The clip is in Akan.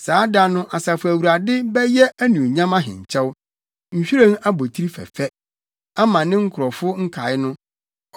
Saa da no Asafo Awurade bɛyɛ Anuonyam ahenkyɛw, nhwiren abotiri fɛfɛ ama ne nkurɔfo nkae no.